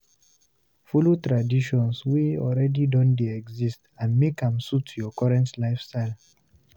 follow the traditions wey already don de exist and make im suit your current lifestyle